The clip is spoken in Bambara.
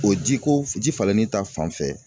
O ji ko ,ji falenni ta fanfɛ